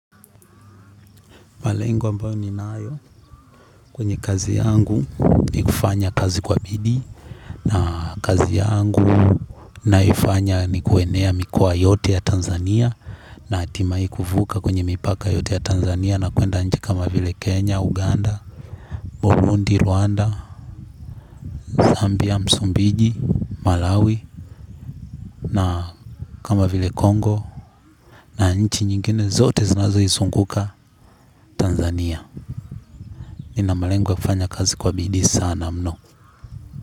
Malengo ambayo ni nayo kwenye kazi yangu ni kufanya kazi kwa bidii na kazi yangu naifanya ni kuenea mikoa yote ya Tanzania na atimai kufuka kwenye mipaka yote ya Tanzania na kuenda nchi kama vile Kenya, Uganda, Burundi, Rwanda, Zambia, Msumbiji, Malawi na kama vile Congo na nchi nyingine zote zinazo isunguka Tanzania. Nina malengo ya kufanya kazi kwa bidii sana mno.